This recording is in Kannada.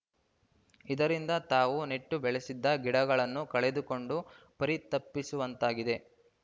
ಇದರಿಂದ ತಾವು ನೆಟ್ಟು ಬೆಳೆಸಿದ ಗಿಡಗಳನ್ನು ಕಳೆದುಕೊಂಡು ಪರಿತಪಿಸುವಂತಾಗಿದೆ